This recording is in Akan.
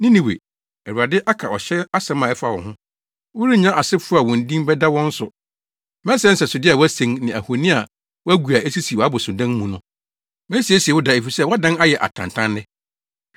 Ninewe, Awurade aka ɔhyɛ asɛm a ɛfa wo ho: “Worennya asefo a wo din bɛda wɔn so. Mɛsɛe nsɛsode a wɔasen ne ahoni a wɔagu a esisi wʼabosonnan mu no. Mesiesie wo da efisɛ woadan ayɛ atantanne.”